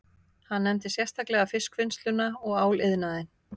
Hann nefndi sérstaklega fiskvinnsluna og áliðnaðinn